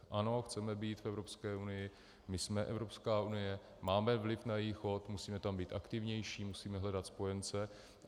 Ano, chceme být v Evropské unii, my jsme Evropská unie, máme vliv na její chod, musíme tam být aktivnější, musíme hledat spojence.